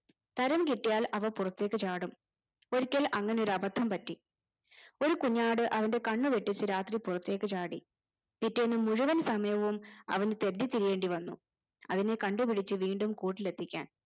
തരം കിട്ടിയാൽ അവ പുറത്തേക്ക് ചാടും ഒരിക്കൽ അങ്ങനെ ഒരു അബദ്ധം പറ്റി ഒരു കുഞ്ഞാട്‌ അവന്റെ കണ്ണുവെട്ടിച്ച് രാത്രി പുറത്തേക്ക് ചാടി പിറ്റേന്ന് മുഴുവൻ സമയവും അവന് തെണ്ടിത്തിരിയേണ്ടി വന്നു അതിനെ കണ്ടുപിടിച്ച് വീണ്ടും കൂട്ടിലെത്തിക്കാൻ